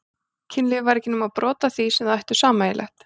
Kynlífið væri ekki nema brot af því sem þau ættu sameiginlegt.